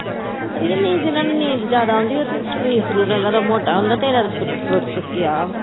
ਅਰੇ ਨਹੀਂ, ਜਿਹਨਾਂ ਨੂੰ ਨੀਂਦ ਜਿਆਦਾ ਆਉਂਦੀ ਆ, ਉਹਨਾਂ ਦਾ ਸਰੀਰ ਮੋਟਾ ਹੁੰਦਾ। ਤੇਰਾ ਤਾਂ ਸਰੀਰ ਸੁੱਕਿਆ।